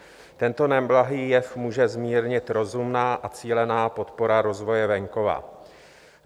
Tento neblahý jev může zmírnit rozumná a cílená podpora rozvoje venkova.